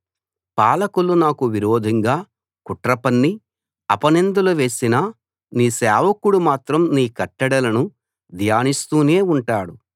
పాలకులు నాకు విరోధంగా కుట్ర పన్ని అపనిందలు వేసినా నీ సేవకుడు మాత్రం నీ కట్టడలను ధ్యానిస్తూనే ఉంటాడు